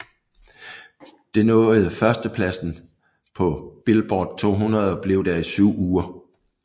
Det nåede førstepladsen på Billboard 200 og blev der i syv uger